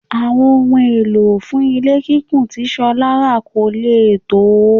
Àwọn ohun èlò fún ilé kíkùn tí Ṣọlá rà kò lè tó.